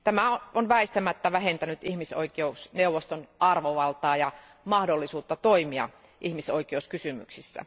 Tämä on väistämättä vähentänyt ihmisoikeusneuvoston arvovaltaa ja mahdollisuutta toimia ihmisoikeuskysymyksissä.